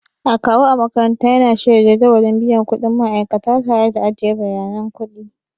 Akawu a makaranta yana shirya jadawalin biyan kuɗin ma'aikata tare da ajiye bayanan kuɗi.